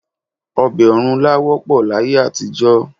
Ọbẹ̀ ọ̀rúnlá wọ́pọ̀ láyé àtijọ́